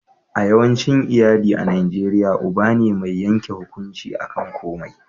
a yawancin iyali a najeriya uba ne mai yanke hukunci a kan komai